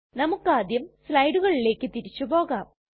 നമുക്കാദ്യം സ്ലയ്ടുകളിലെക് തിരിച്ചു പോകാം